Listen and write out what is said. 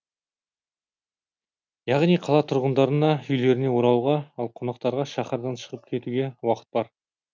яғни қала тұрғындарына үйлеріне оралуға ал қонақтарға шаһардан шығып кетуге уақыт бар